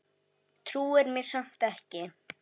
Trúir mér samt ekki.